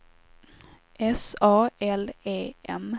S A L E M